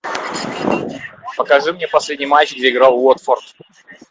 покажи мне последний матч где играл уотфорд